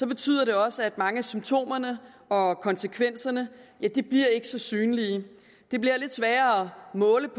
betyder det også at mange af symptomerne og konsekvenserne ikke bliver så synlige det bliver lidt sværere at måle